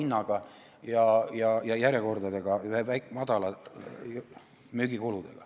Seal on lausa järjekorrad ja väikesed müügikulud.